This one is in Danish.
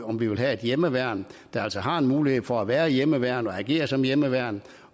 om vi vil have et hjemmeværn der altså har en mulighed for at være hjemmeværn og agere som hjemmeværn